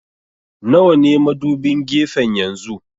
Nawa ne madubin gefen yanzu?